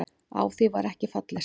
Á það var ekki fallist.